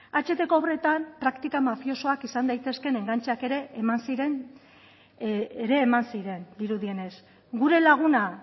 ahtko obretan praktika mafiosoak izan daitezkeen engantxeak ere eman ziren dirudienez gure laguna